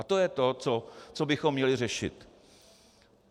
A to je to, co bychom měli řešit.